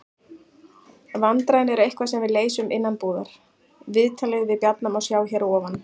Vandræðin eru eitthvað sem við leysum innanbúðar. Viðtalið við Bjarna má sjá hér að ofan.